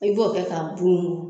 I b'o kɛ ka bunbun.